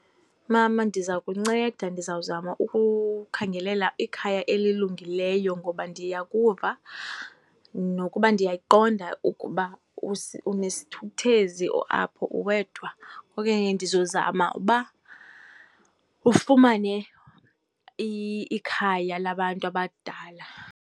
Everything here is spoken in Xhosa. Mama, ndiza kunceda. Ndizawuzama ukukhangela ikhaya elilungileyo ngoba ndiyakuva nokuba ndiyayiqonda ukuba unesithukuthezi apho, uwedwa. Okanye ndizozama uba ufumane ikhaya labantu abadala.